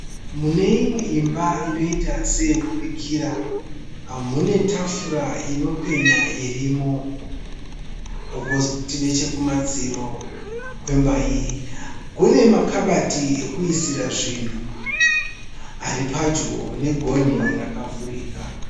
Mune imwe imba inoita seyokubikira. Mune tafura inopenya irimo. Kwozoti nechekumadziro kwemba iyi kune makabati ekuisira zvinhu aripadyo negonhi rakavhurika.